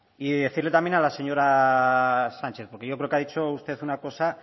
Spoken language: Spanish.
y decirle también a la señora sánchez porque yo creo que ha dicho usted una cosa